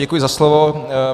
Děkuji za slovo.